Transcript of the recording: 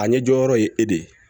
A ɲɛ jɔyɔrɔ ye e de ye